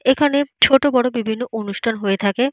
এইখানে ছোট বড়ো বিভিন্ন অনুষ্ঠান হয়ে থাকে।